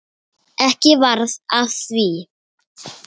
Ekki varð af því.